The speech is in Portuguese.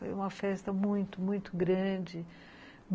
Foi uma festa muito, muito grande.